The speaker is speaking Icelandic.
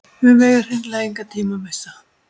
Við megum hreinlega engan tíma missa